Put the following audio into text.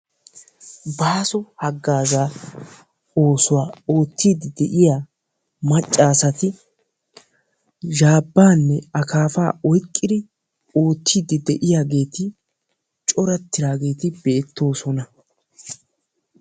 Baaso hagaazzaa oosuwaa oottiidi de'iyaa macca asati zhaabbaanne akaapaa oyqqidi oottiidi de'iyaageti coorattidaageti beettoosona.